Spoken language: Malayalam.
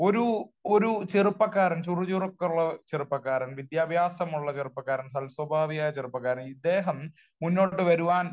ഒരു ഒരു ചെറുപ്പക്കാരൻ, ചുറു ചുറുക്കുള്ള ചെറുപ്പക്കാരൻ വിദ്യാഭ്യാസമുള്ള ചെറുപ്പക്കാരൻ സൽസ്വഭാവിയായ ചെറുപ്പക്കാരൻ ഇദ്ദേഹം മുന്നോട്ട് വരുവാൻ